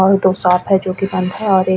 और दो सॉप है जो कि बंद है और एक --